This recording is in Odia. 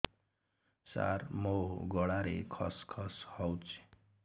ସାର ମୋ ଗଳାରେ ଖସ ଖସ ହଉଚି